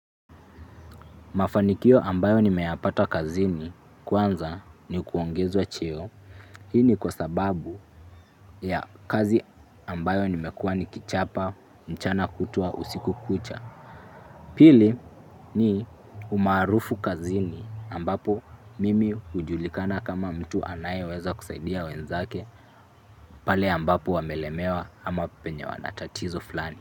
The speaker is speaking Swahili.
Mafanikio ambayo nimeyapata kazini kwanza ni kuongezwa cheo. Hii ni kwa sababu ya kazi ambayo nimekua nikichapa mchana kutwa usiku kucha. Pili ni umaarufu kazini ambapo mimi hujulikana kama mtu anayeweza kusaidia wenzake pale ambapo wamelemewa ama penye wanatatizo flani.